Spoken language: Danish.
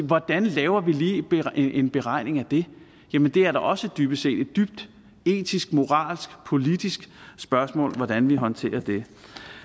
hvordan laver vi lige en beregning af det jamen det er da også dybest set et etisk moralsk politisk spørgsmål hvordan vi håndterer det